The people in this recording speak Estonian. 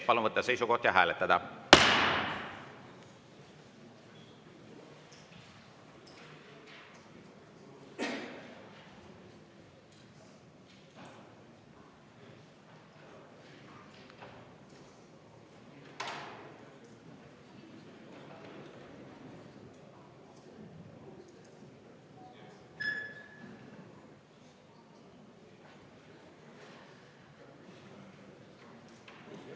Palun võtta seisukoht ja hääletada!